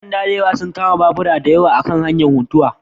Ƴan sanda sun kama babura dayawa a kan hanyar Funtuwa